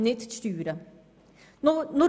Es sind nicht die Steuern.